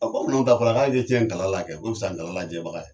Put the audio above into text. N'un tɛ a fɔla k'a ye cɛn n tala la kɛ, o ma misa nkalon lajɛbaga ye